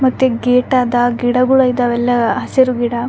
ಮತ್ತೆ ಗೇಟ್ ಆದ ಗಿಡಗುಳ್ ಇದ್ದವಲ್ಲ ಹಸಿರು ಗಿಡ --